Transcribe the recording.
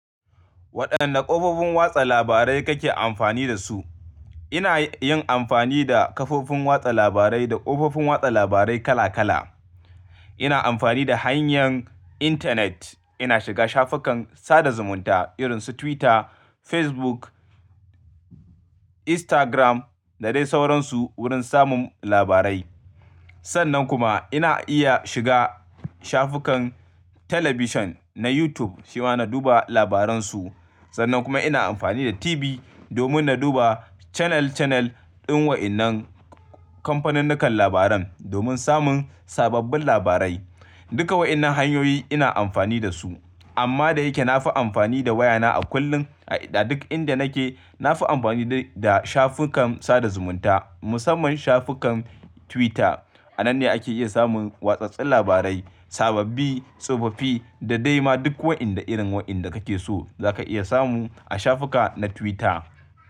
Waɗanne kafofin watsa labarai kake amfani da su? Ina yin amfani da kafofin watsa labarai da kofofin watsa labarai kala kala. Ina amfani da hanyar intanet. Ina shiga shafukan sada zumunta irin su Twitter, Facebook, Instagram da dai sauransu wurin samun labarai. Sannan kuma ina iya shiga shafukan talabijin na YouTube shi ma na duba labaran su. Sannan kuma ina amfani da TV domin na duba canal canal ɗin waɗannan kamfanunnukan labaran domin samun sababbin labarai. Duka waɗannan hanyoyi ina amfani da su amma da yake na fi amfani da wayana a kullum a duk inda nake. Na fi amfani da shafukan sada zumunta musamman shafukan Twitter. A nan ne ake iya samun watsatsen labarai, sababbi, tsofaffi da dai ma duk waɗanda irin waɗanda kake so zaka iya samu a shafuka na Twitter.